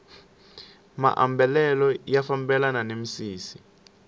maambalelo ya fambelana ni misisi